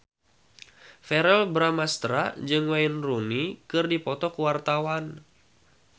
Verrell Bramastra jeung Wayne Rooney keur dipoto ku wartawan